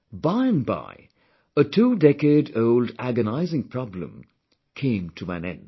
By and by, a two decade old agonizing problem came to an end